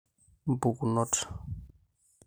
Mpukunot